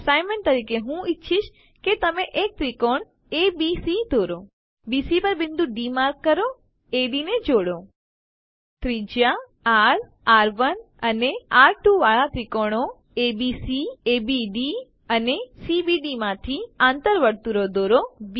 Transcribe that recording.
assignment તરીકે હું ઈચ્છીશ કે તમે એક ત્રિકોણ એબીસી દોરો બીસી પર બિંદુ ડી માર્ક કરો એડી ને જોડો ત્રિજ્યા આર આર1 અને આર2 વાળા ત્રિકોણો એબીસી એબીડી અને સીબીડી માંથી આંતર વર્તુળો દોરો